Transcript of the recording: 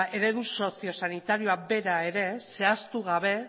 eredu sozio sanitarioa bera ere zehaztu gabe